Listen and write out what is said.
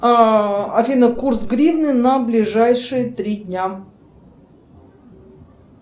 афина курс гривны на ближайшие три дня